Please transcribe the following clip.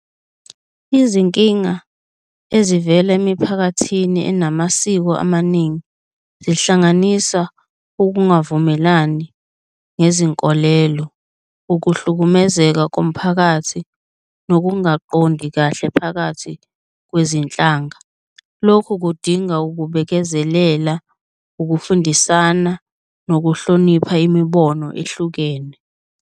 Izinkinga ezivela emiphakathini enamasiko amaningi zihlanganisa ukungavumelani nezinkolelo, ukuhlukumezeka komphakathi, nokungaqondi kahle phakathi kwezinhlanga. Lokhu kudinga ukubekezelela, ukufundisana nokuhlonipha imibono ehlukene.